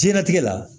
Jiyɛn latigɛ la